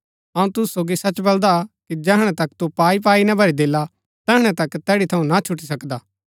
अऊँ तुसु सोगी सच बलदा कि जैहणै तक तू पाईपाई ना भरी देला तैहणै तक तैड़ी थऊँ ना छुटी सकदा